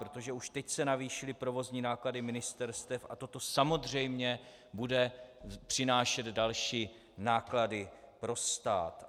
Protože už teď se navýšily provozní náklady ministerstev a toto samozřejmě bude přinášet další náklady pro stát.